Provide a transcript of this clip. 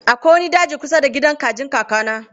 Akwai wani daji kusa da gidan kajin kakana.